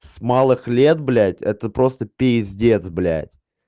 с малых лет блядь это просто пиздец блядь